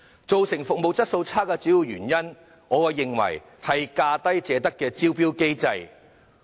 造成服務質素差劣的主要原因，我認為是"價低者得"的招標機制。